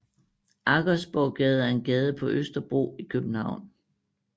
Aggersborggade er en gade på Østerbro i København